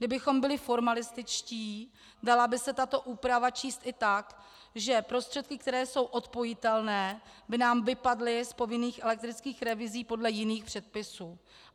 Kdybychom byli formalističtí, dala by se tato úprava číst i tak, že prostředky, které jsou odpojitelné, by nám vypadly z povinných elektrických revizí podle jiných předpisů.